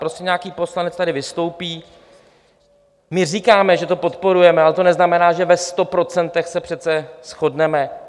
Prostě nějaký poslanec tady vystoupí, my říkáme, že to podporujeme, ale to neznamená, že ve sto procentech se přece shodneme.